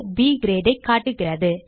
ப் Grade ஐ காட்டுகிறது